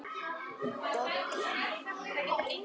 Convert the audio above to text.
Dolla mín.